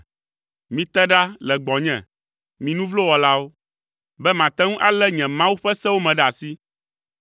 Mite ɖa le gbɔnye, mi nu vlo wɔlawo, be mate ŋu alé nye Mawu ƒe sewo me ɖe asi!